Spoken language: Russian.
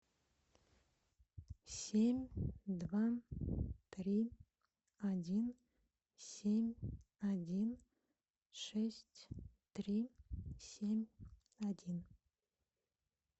семь два три один семь один шесть три семь один